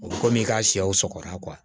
O bɛ kɔmi i ka sɛw sɔgɔra